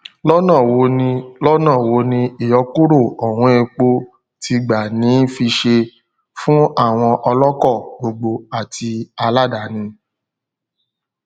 lọnà wo ni lọnà wo ni ìyọkúrò ọwọn epo ti gbà ní fiṣe fún àwọn ọlọkọ gbogbogbò àti aláàdáni